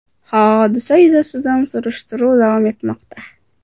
Hodisa yuzasidan surishtiruv davom etmoqda.